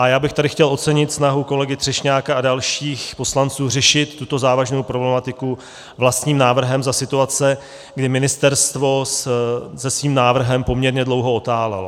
A já bych tady chtěl ocenit snahu kolegy Třešňáka a dalších poslanců řešit tuto závažnou problematiku vlastním návrhem za situace, kdy ministerstvo se svým návrhem poměrně dlouho otálelo.